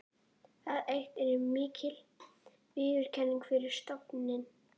Það eitt er mikil viðurkenning fyrir stofninn.